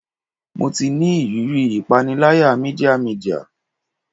Mo ti ni iriri ipanilaya media media